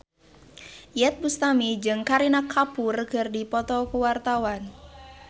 Iyeth Bustami jeung Kareena Kapoor keur dipoto ku wartawan